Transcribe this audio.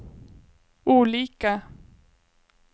olika